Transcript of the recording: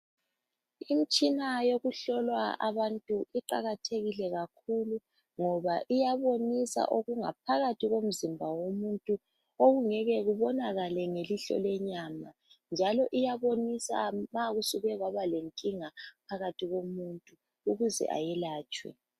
lmitshina yokuhlola abantu iqakathekile kakhulu ngoba iyabonisa okungaphakathi komzimba womuntu okungeke kubonakale ngelihlo lenyama njalo iyabonisa ma kusuke kwaba lenkinga phakathi komuntu ukuze ayelatshwe.